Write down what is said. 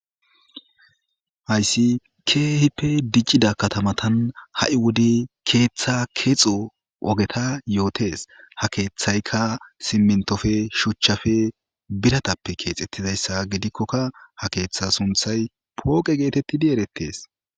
hayssi keehippe diccida katamatan ha7i wode keeththa keexo ogeta yootes ha keeththayka simintofe shuchchafe biratappe keexettizayssa gidikkokka ha keeththa sunthay pooqe geetettidi erettes